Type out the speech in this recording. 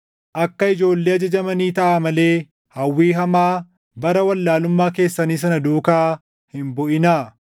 Akka ijoollee ajajamanii taʼaa malee hawwii hamaa bara wallaalummaa keessanii sana duukaa hin buʼinaa.